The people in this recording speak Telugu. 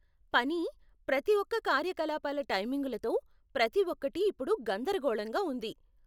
పని, ప్రతి ఒక్క కార్యకలాపాల టైమింగులతో, ప్రతి ఒక్కటి ఇప్పుడు గందరగోళంగా ఉంది